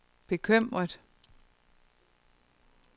bekymret